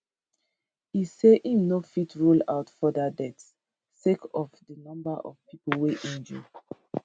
e say im no fit rule out further deaths sake of di number of pipo wey injure